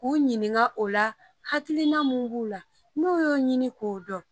K'u ɲininka o la, hakiliina min b'u la, n'u y'o ɲini k'o dɔn.